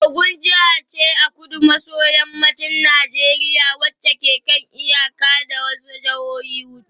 Ogun jiha ce a kudu maso yammacin Najeriya wacce ke kan iyaka da wasu jihohi hudu